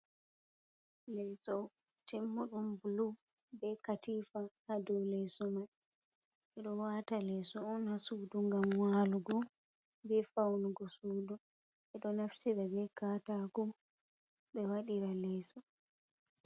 Leeso timmuɗum buluu, bee katiifa. Ha dow leeso mai, ɓe ɗo wa'ata leeso on, haa suudu ngam waalugo, bee fawnugo suudu, ɓe ɗo naftira bee be kataako, ɓe waɗiraa leeso.